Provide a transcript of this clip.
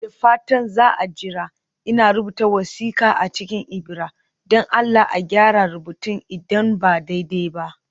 Da fatan za a jira, ina rubuta wasiƙa a cikin ibira (don Allah a gyara rubutun idan ba daidai ba)